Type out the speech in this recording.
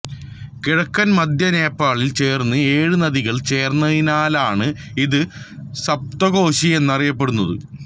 കിഴക്കൻമധ്യ നേപ്പാളിൽ ചേരുന്ന ഏഴ് നദികൾ ചേർന്നതിനാലാണ് ഇത് സപ്തകോശി എന്നറിയപ്പെടുന്നത്